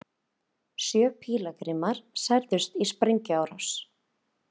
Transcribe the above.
Sjö pílagrímar særðust í sprengjuárás